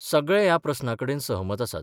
सगळे ह्या प्रस्नाकडेन सहमत आसात.